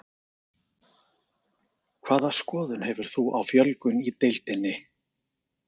Hvaða skoðun hefur þú á fjölgun í deildinni?